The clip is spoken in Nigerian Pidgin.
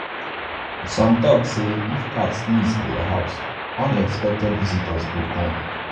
some tok um say if cat sneeze um for your house unexpected um visitors um visitors go come.